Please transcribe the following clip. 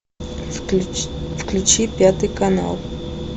включи пятый канал